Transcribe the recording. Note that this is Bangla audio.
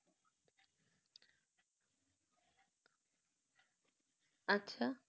আচ্ছা